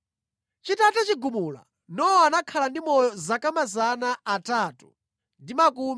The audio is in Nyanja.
Chitatha chigumula, Nowa anakhala ndi moyo zaka 350.